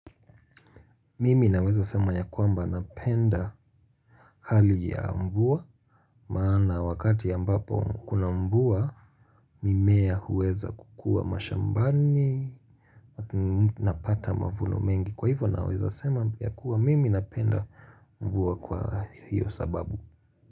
Mimi naweza sema ya kwamba napenda hali ya mvua maana wakati ambapo kuna mvua mimea huweza kukua mashambani atu napata mavuno mengi kwa hivo naweza sema ya kua mimi napenda mvua kwa hiyo sababu.